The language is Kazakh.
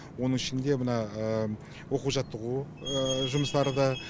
оның ішінде мына оқу жаттығу жұмыстары да